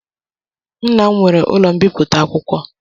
Nna m nwere ụlọ mbipụta akwụkwọ.